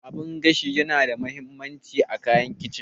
Abun gashi yana da mahimmanci a kayan kicin